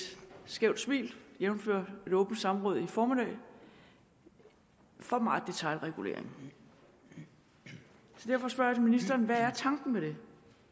skævt smil jævnfør et åbent samråd i formiddag for meget detailregulering så derfor spørger jeg ministeren hvad er tanken med det